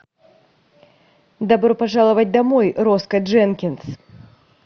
добро пожаловать домой роско дженкинс